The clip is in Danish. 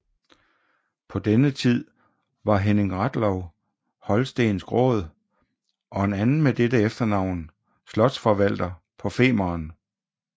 På denne tide var Henning Rathlow holstensk råd og en anden med dette efternavn slotsforvalter på Femern